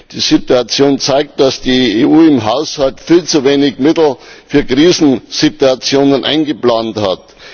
Die Situation zeigt, dass die EU im Haushalt viel zu wenig Mittel für Krisensituationen eingeplant hat.